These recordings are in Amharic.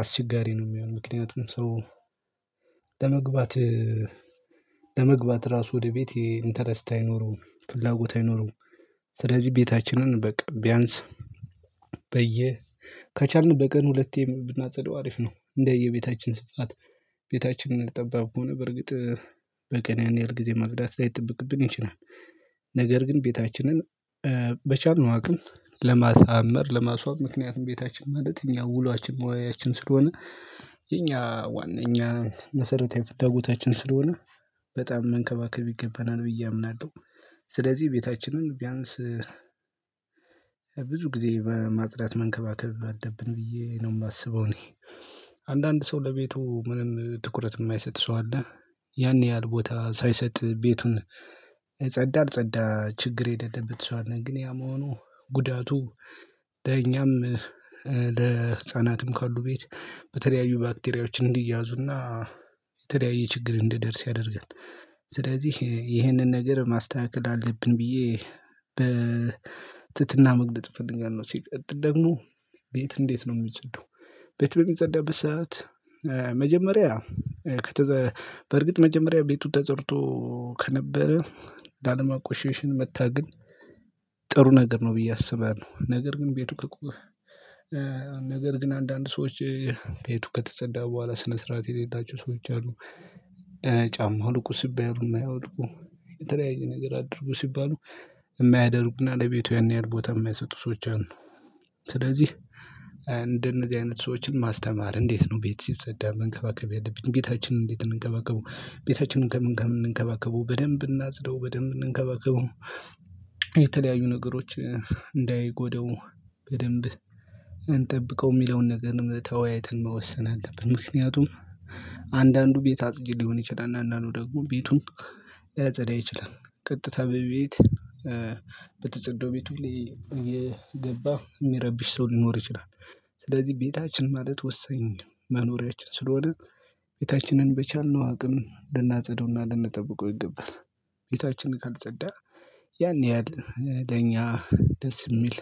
አስቸጋሪ ነው። የሚሆነው ምክንያቱም ሰው ለመግባት ለመግባት ራሱ ወደ ቤት እንተረስታ አይኖርም ፍላጎት አይኖርም። ስለዚህ ቤታችንን በቃ ቢያንስ በየ ከቻልን በቀን ሁለቴ ብናጸደው አሪፍ ነው። እንደየቤታችን ስፋት ቤታችንን ጠባብ ከሆነ በርግጥ በቀን ያን ያህል ጊዜ ማጽዳት ላይጠበቅብን ይችላል። ነገር ግን ቤታችንን በቻልነው አቅም ለማሳመር ለማስዋብ ምክንያቱም ቤታችን ማለት እኛ ውሏችን መዋያችን ስለሆነ። የኛ ዋና የኛ መሰረታዊ ፍላጎታችን ስለሆነ በጣም መንከባከብ ይገባናል ብዬ አምናለሁ። ስለዚህ ቤታችንን ቢያንስ ብዙ ጊዜ በማጽዳት መንከባከብ አለብን ብዬ ነው የማስበው። እኔ አንዳንድ ሰው ለቤቱ ምንም ትኩረት የማይሰጥ ሰው አለ። ያን ያህል ቦታ ሳይሰጥ ቤቱን ጸዳ አልጸዳ ችግር የሌለበት ሰው አለ ግን ያ መሆኑ ጉዳቱ ለእኛም ለህፃናትም ካሉ ቤት በተለያዩ ባክቴሪያዎችን እንዲያዙና የተለያየ ችግር እንዲደርስ ያደርጋል። ስለዚህ ይህንን ነገር ማስተካከል አለብን ብዬ በትህትና መግለጥ ፈልጋለሁ። ሲል ሲቀጥል ደግሞ ቤት እንዴት ነው የሚጸዳው? ቤት በሚጸዳበት ሰዓት መጀመሪያ ከተዘ በርግጥ መጀመሪያ ቤቱ ተጸድቶ ከነበረ ላለማቆሸሽም መታገል ጥሩ ነገር ነው። ብዬ አስባለሁ ነገር ግን ቤቱ ከቆሸ ነገር ግን አንዳንድ ሰዎች ቤቱ ከተጸዳ በኋላ ስነ ስርዓት የሌላቸው ሰዎች አሉ። ጫማ አውልቁ ሲባሉ ማያወልቁ የተለያየ ነገር አድርጉ ሲባሉ የማያደርጉና ለቤቱ ያን ያህል ቦታ የማይሰጡ ሰዎች አሉ። ስለዚህ እንደነዚህ አይነት ሰዎችን ማስተማር እንዴት ነው ቤት ሲጸዳ መንከባከብ ያለብኝ ቤታችንን እንዴት እንከባከበው ቤታችንን ከምን ከምን እንከባከበው በደንብ እናጽዳው በደንብ እንከባከበው? የተለያዩ ነገሮች እንዳይጎዳው በደንብ እንጠብቀው የሚለውን ነገር ተወያይተን መወሰን አለብን። ምክንያቱም አንዳንዱ ቤት አጽጂ ሊሆን ይችላል። አንዳንዱ ደግሞ ቤቱን ላያጸዳ ይችላል። ቀጥታ በቤት በተጸዳው ቤት ሁሌ የገባ የሚረብሽ ሰው ሊኖር ይችላል። ስለዚህ ቤታችን ማለት ወሰኝ መኖሪያችን ስለሆነ ቤታችንን በቻልነው አቅም ልናጸደውና ልንጠብቀው ይገባል። ቤታችን ካልጸዳ ያን ያህል ለኛ ደስ የሚል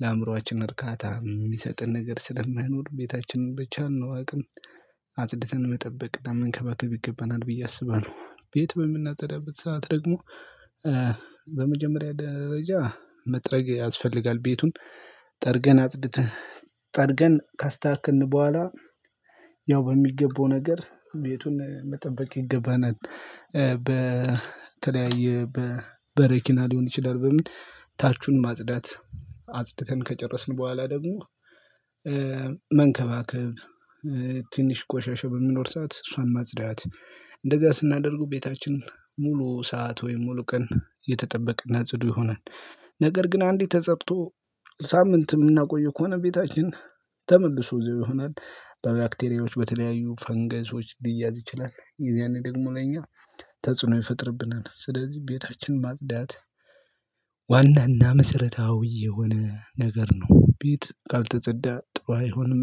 ለአእምሮአችን እርካታ የሚሰጥን ነገር ስለማይኖር ቤታችንን ብቻልነው አቅም አጽድተን መጠበቅ መንከባከብ ይገባናል ብዬ አስባለሁ። ቤት በምናጸዳበት ሰዓት ደግሞ በመጀመሪያ ደረጃ መጥረግ ያስፈልጋል ቤቱን ጠርገን አጽድተን ጠርገን ካስተካክልን በኋላ ያው በሚገባው ነገር ቤቱን መጠበቅ ይገባናል። በተለያየ በበረኪና ሊሆን ይችላል በምን ታቹን ማጽዳት አጽድተን ከጨረስን በኋላ ደግሞ መንከባከብ ትንሽ ቆሻሻ በሚኖር ሰዓት እሷን ማጽዳት እንደዛ ስናደርገው ቤታችን ሙሉ ሰዓት ወይም ሙሉ ቀን የተጠበቀና ጽዱ ይሆናል። ነገር ግን አንዲት ተፀድቶ ሳምንት የምናቆየው ከሆነ ቤታችን ተመልሶ እዚያው ይሆናል። በባክቴሪያዎች በተለያዩ ፈንገሶች ሊያዝ ይችላል የዚያኔ ደግሞ ለኛ ተጽዕኖ ይፈጥርብናል። ስለዚህ ቤታችን ማጽዳት ዋናና መሰረታዊ የሆነ ነገር ነው። ቤት ካልተጸዳ ጥሩ አይሆንም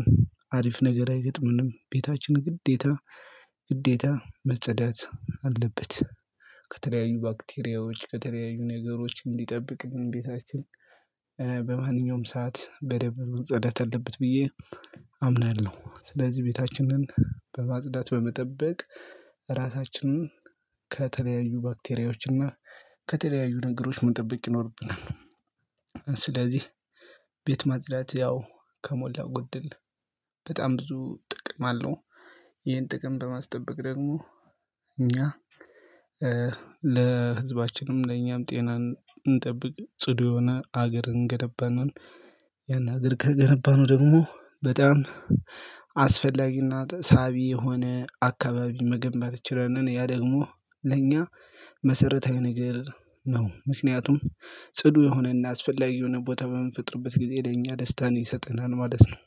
አሪፍ ነገር አይገጥምንም ቤታችን ግዴታ ግዴታ መጸዳት አለበት። ከተለያዩ ባክቴሪያዎች ከተለያዩ ነገሮች እንዲጠብቅ ቤታችን በማንኛውም ሰዓት በደንብ መጸዳት አለበት ብዬ አምናለሁ። ስለዚህ ቤታችንን በማጽዳት በመጠበቅ ራሳችንን ከተለያዩ ባክቴሪያዎች እና ከተለያዩ ነገሮች መጠበቅ ይኖርብናል። ስለዚህ ቤት ማጽዳት ያው ከሞላው ጎደል በጣም ብዙ ጥቅም አለው። ይሄን ጥቅም በማስጠበቅ ደግሞ እኛ ለህዝባችንም ለኛም ጤናን እንጠብቅ ጽዱ የሆነ ሀገርን እንገነባለን። ያን ሀገር ከገነባነው ደግሞ በጣም አስፈላጊና ሳቢ የሆነ አካባቢ መገንባት እንችላለን። ያ ደግሞ ለእኛ መሰረታዊ ነገር ነው ምክንያቱም ጽዱ የሆነና አስፈላጊ የሆነ ቦታ በምንፈጥርበት ጊዜ ለእኛ ደስታን ይሰጠናል። ማለት ነው።